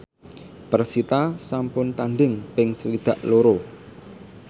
persita sampun tandhing ping swidak loro